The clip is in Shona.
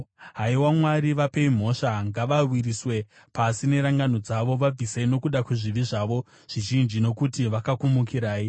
Haiwa Mwari, vapei mhosva! Ngavawisirwe pasi nerangano dzavo. Vabvisei nokuda kwezvivi zvavo zvizhinji, nokuti vakakumukirai.